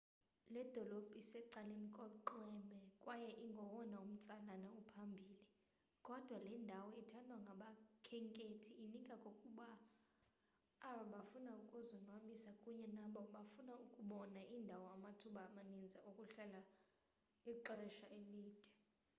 le dolophu isecaleni konxweme kwaye ingowona umtsalane uphambili kodwa le ndawo ithandwa ngabakhenkethi inika kokubini abo bafuna ukuzonwabisa kunye nabo bafuna ukubona iindawo amathuba amaninzi okuhlala ixesha elide